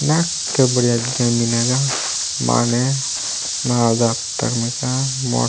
नाक बढ़िया दीथा मिनागा माने नाओदात्रमका मो --